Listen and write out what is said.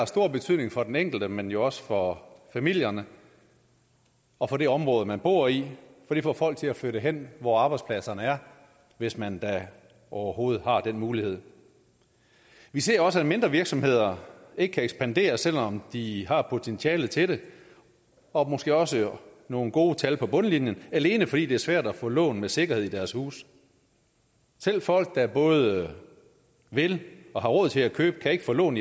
stor betydning for den enkelte men jo også for familierne og for det område man bor i for det får folk til at flytte hen hvor arbejdspladserne er hvis man da overhovedet har den mulighed vi ser også at mindre virksomheder ikke kan ekspandere selv om de har potentialet til det og måske også nogle gode tal på bundlinjen alene fordi det er svært at få lån med sikkerhed i deres huse selv folk der både vil og har råd til at købe kan ikke få lån